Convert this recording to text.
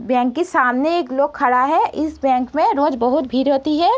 Bank के सामने एक लोग खड़ा है इस बैंक में रोज बहुत भीड़ होती है।